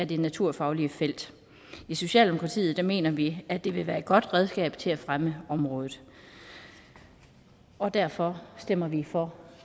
det naturfaglige felt i socialdemokratiet mener vi at det vil være et godt redskab til at fremme området og derfor stemmer vi for